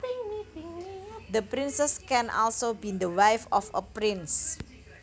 The princess can also be the wife of a prince